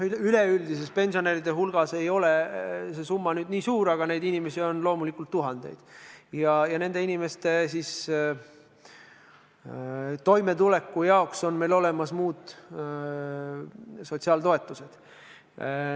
Üleüldises pensionäride hulgas ei ole nende arv nii suur, aga neid inimesi on loomulikult tuhandeid ja nende inimeste toimetulekuks on meil olemas muud sotsiaaltoetused.